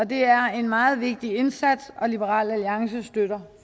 det er en meget vigtig indsats og liberal alliance støtter